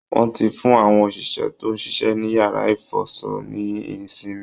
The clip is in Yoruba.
Wọ́n ti fún àwọn òṣìṣẹ́ tó ń ṣiṣẹ́ ní yàrá ìfọṣọ ní ìsinmi